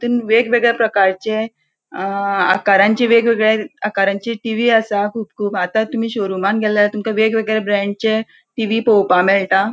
तुन वेगवेगळ्या प्रकारांचे अ आकारांचे वेगवेगळ्या आकारांची टीवी असा. खुब खूब आता तुमि शोरूमान गेल्यार तुमका वेगवेगळ्या ब्रँडचे टीवी पोवपाक मेळटा.